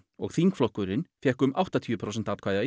og þingflokkurinn fékk um áttatíu prósent atkvæða